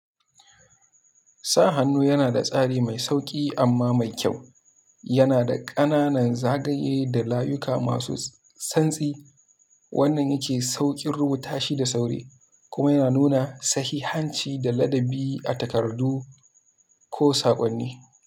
Sa hannu yana da tsari mai sauƙi amma mai kyau. Yana da ƙananan zagaye da layuka masu santsi. Wannan yake sauƙin rubuta shi da sauri kuma yana nuna sahihanci da ladabi a takardu ko saƙonni.